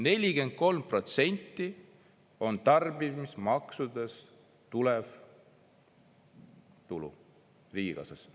43% on tarbimismaksudest tulev tulu riigikassasse.